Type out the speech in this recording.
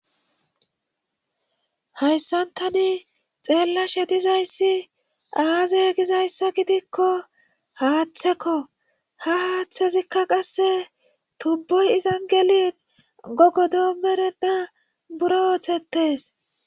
hayssantani xeellashe dizayssi aaze gizayssa gidikko haaththekko ha haaththezikka qasse tubboy izan gelin gogodo merenna buro ooththettes